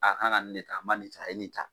A kan ka nin ne ta a man nin ta a ye nin ta.